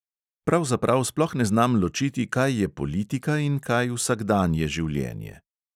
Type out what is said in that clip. Pravzaprav sploh ne znam ločiti, kaj je politika in kaj vsakdanje življenje.